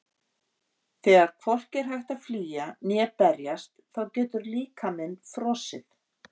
Þegar hvorki er hægt að flýja né berjast þá getur líkaminn frosið.